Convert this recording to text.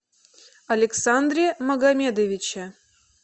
александре магомедовиче